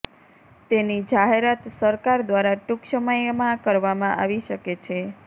તેની જાહેરાત સરકાર દ્વારા ટૂંક સમયમાં કરવામાં આવી શકે છે